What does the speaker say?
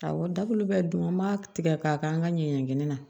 Awɔ dabulu bɛɛ dun an b'a tigɛ k'a kɛ an ka ɲɛɲinin na